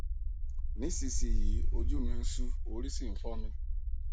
nísinyìí ojú mi ń ṣú orí sì ń fọ mi